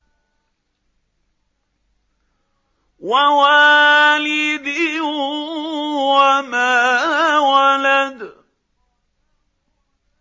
وَوَالِدٍ وَمَا وَلَدَ